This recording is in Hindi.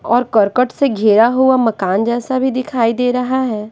और कर्कट से घेरा हुआ मकान जैसा भी दिखाई दे रहा है।